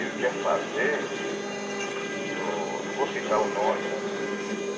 Ele quer fazer... Não vou citar o nome.